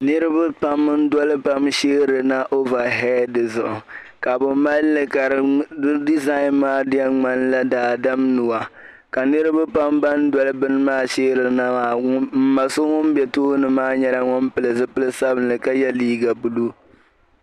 Niriba pam n-doli taba sheerina ovahɛdi zuɣu ka bɛ mali li ka di dizaani maa di yɛn ŋmanila daadam nuu ka niriba pam ban doli bini maa sheerina maa m ma so ŋun be tooni maa nyɛla ŋun pili zipil' sabilinli ka ye liiga buluu.